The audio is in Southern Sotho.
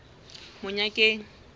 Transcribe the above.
monyakeng